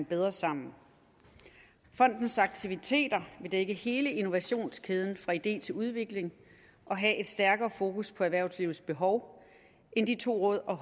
bedre sammen fondens aktiviteter vil dække hele innovationskæden fra idé til udvikling og have et stærkere fokus på erhvervslivets behov end de to råd og